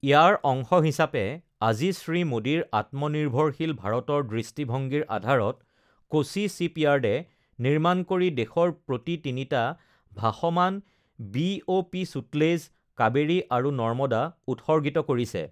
ইয়াৰ অংশ হিচাপে আজি শ্ৰী মোদীৰ আত্মনিৰ্ভৰশীল ভাৰতৰ দৃষ্টিভংগীৰ আধাৰত কোচি শ্বিপয়াৰ্ডে নিৰ্মাণ কৰি দেশৰ প্ৰতি তিনিটা ভাসমান বিঅ পি ছূটলেজ, কাবেৰী আৰু নৰ্মদা উৎসৰ্গিত কৰিছে।